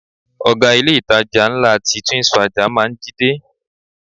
Oga ilé-itàjà ńlá ti Twins Faja máa ń jí dé.